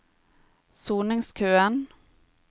soningskøen